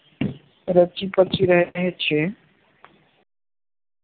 રચી કચી રહે છે